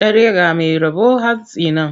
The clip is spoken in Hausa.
Dare ga mai rabo hantsi ne.